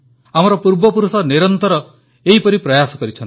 ଆମର ପୂର୍ବପୁରୁଷ ନିରନ୍ତର ଏପରି ପ୍ରୟାସ କରିଛନ୍ତି